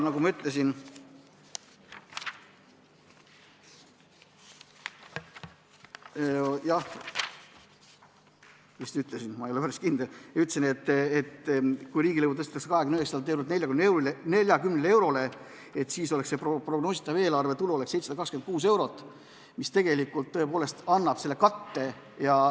Ma vist ütlesin , et kui riigilõiv tõstetakse 29 eurolt 40 eurole, siis oleks prognoositav eelarvetulu 726 eurot, mis tõepoolest annab selle katte.